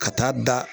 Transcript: Ka taa da